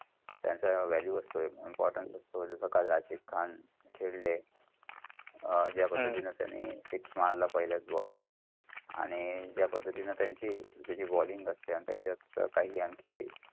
ते त्यांचा value अस्तेय. important role असतो. काल रशीद खान खेळले. . जा पद्धतींनी त्यानीं six मारला पहिल्याच ball वर आणि जा पद्धतींनी तेत्यांची त्येंची balling असत त्यायचा काय आणखी